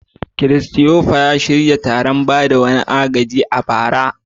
Christopher ya shirya wani taron ba da agaji a bara.